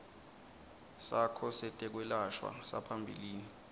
sakho setekwelashwa saphambilini